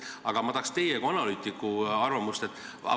Aga ma tahaks teie kui analüütiku arvamust.